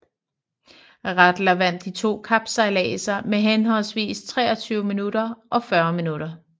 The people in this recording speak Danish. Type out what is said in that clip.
Rattler vandt de to kapsejladser med henholdsvis 23 minutter og 40 minutter